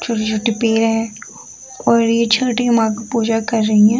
छोटे-छोटे पेड़ है और ये छोटे पूजा कर रही है।